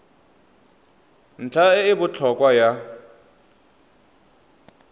ntlha e e botlhokwa ya